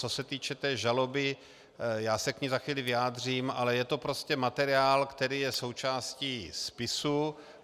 Co se týče té žaloby, já se k ní za chvíli vyjádřím, ale je to prostě materiál, který je součástí spisu.